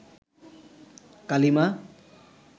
কালিমা